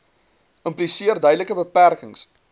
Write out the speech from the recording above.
impliseer duidelike beperkings